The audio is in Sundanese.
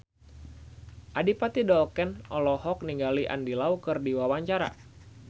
Adipati Dolken olohok ningali Andy Lau keur diwawancara